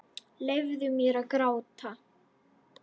Leyfðu þér að gráta.